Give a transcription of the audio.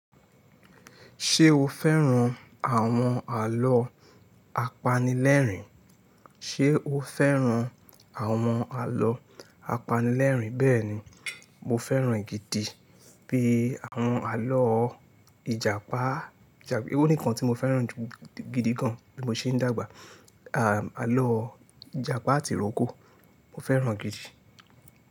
Ṣé o fẹ́ran àwọn àlọ́ apanilẹ́rìn? Ṣé o fẹ́ran àwọn àlọ́ apanilẹ́rìn? Bẹ́ẹ̀ni, mo fẹ́ran gidi pè àwọn àlọ́ Ìjàpá. Ó nìkan tí mo fẹ́ran ju gidi gan bí mo ṣe ń dàgbà. Am Àlọ́ Ìjàpá tìrókò, mo fẹ́ran gidi.